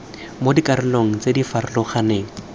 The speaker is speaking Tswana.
mo dikarolong tse di farologaneng